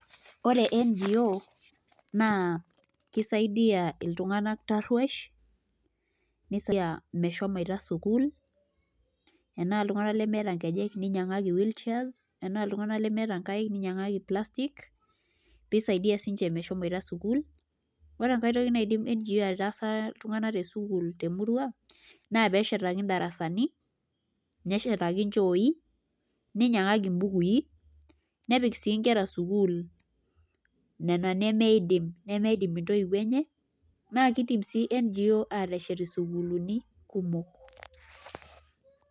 Ore NGO naa kisaidia iltunganak tarruash meshomoita sukuul enaa iltunganak lemeeta nkejek ninyiang'aki wheel chairs enaa iltunganak lemeeta nkaik no ninyiang'aki plastic pee isaidia siinche meshomoita sukuul ore enkai toki enkai toki naidim NGO aitaasa iltunganak tesukuul temurua naa pee eshetaki indarasani neshetaki nchooi ninyiang'aki mbukui nepiki sii nkera sukuul nena nemeidim ntoiwuo enye naa kiidim sii NGO's aateshet ndarasani kumok.